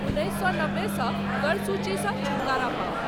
उन्नीस सौ नब्बे सॅ कर सूची सॅ छुटकारा पाउ।